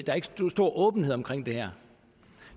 stor åbenhed omkring det her